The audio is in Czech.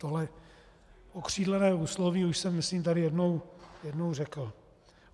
Tohle okřídlené úsloví už jsem myslím tady jednou řekl.